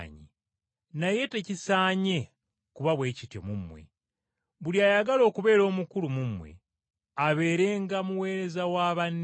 Naye tekisaanye kuba bwe kityo mu mmwe. Buli ayagala okubeera omukulu mu mmwe, abeerenga muweereza wa banne.